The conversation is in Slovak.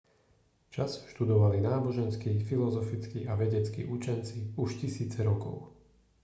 čas študovali náboženskí filozofickí a vedeckí učenci už tisíce rokov